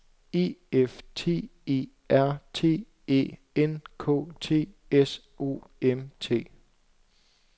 E F T E R T Æ N K T S O M T